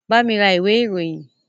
Bami ra ìwé ìròyìn!